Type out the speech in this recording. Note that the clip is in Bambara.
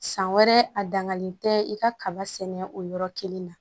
San wɛrɛ a dangalen tɛ i ka kaba sɛnɛ o yɔrɔ kelen na